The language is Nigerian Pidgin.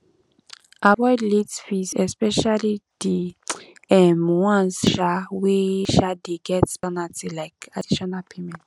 avoid late fees especially di um ones um wey um dey get penalty like additional payment